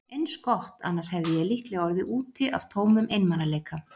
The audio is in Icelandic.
Eins gott, annars hefði ég líklega orðið úti af tómum einmanaleika.